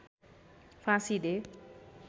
फाँसी दे